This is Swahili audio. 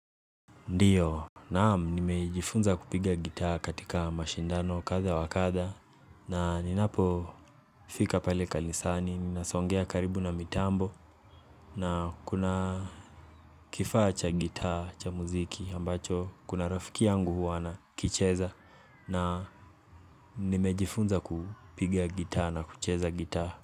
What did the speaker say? Ndiyo, naam nimejifunza kupiga gitaa katika mashindano kadha wa kadha na ninapofika pale kanisani, ninasongea karibu na mitambo na kuna kifaa cha gitta cha muziki ambacho kuna rafiki yangu huwa anakicheza na nimejifunza kupigia gita na kucheza gita.